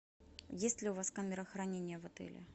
есть ли у вас камера хранения в отеле